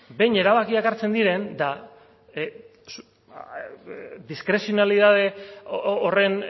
behin erabakiak hartzen diren eta diskrezionalidade horren